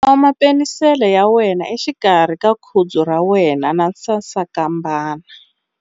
Khoma penisele ya wena exikarhi ka khudzu ra wena na sasankambana.